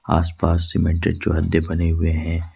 आसपास सीमेंटेड चौहद्दे बने हुए हैं।